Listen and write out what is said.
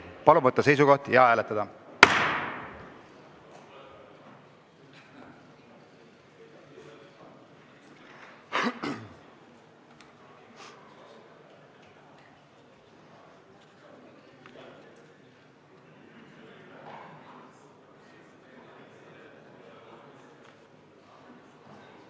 Palun võtta seisukoht ja hääletada!